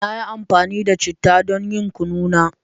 Na yi amfani da chittah don yin Kunu na